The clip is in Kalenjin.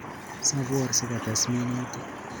Sapor sikotes minutik